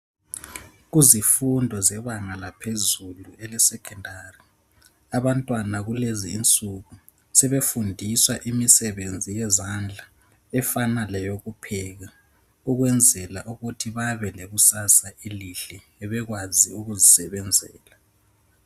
Kuzifundo zebanga laphezulu elesekhendari. Abantwana kulezi insuku sebefundiswa imisebenzi yezandla efana leyokupheka ukwenzela ukuthi babe lekusasa elihle. Bekwazi ukuzisebenzela.